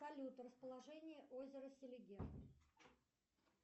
салют расположение озера селигер